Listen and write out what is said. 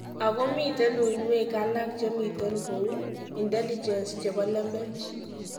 Ago miten uinwek alaak chemiten goou intelinjesh chebo lembech.